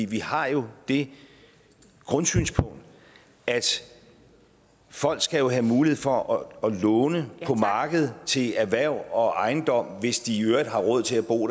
vi har jo det grundsynspunkt at folk skal have mulighed for at låne på markedet til erhverv og ejendom hvis de i øvrigt har råd til at bo